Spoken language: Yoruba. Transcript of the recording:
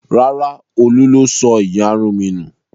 Rárá, Olú ló sọ ìyarun mi nù.